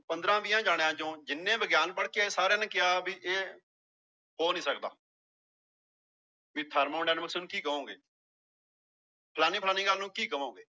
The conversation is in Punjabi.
ਪੰਦਰਾਂ ਵੀਹਾਂ ਜਾਣਿਆਂ ਚੋਂ ਜਿੰਨੇ ਵਿਗਿਆਨ ਪੜ੍ਹਕੇ ਆਏ ਸਾਰਿਆਂ ਨੇ ਕਿਹਾ ਵੀ ਇਹ ਹੋ ਨੀ ਸਕਦਾ ਵੀ ਨੂੰ ਕੀ ਕਹੋਗੇ ਫਲਾਨੀ ਫਲਾਨੀ ਗੱਲ ਨੂੰ ਕੀ ਕਹੋਂਗੇ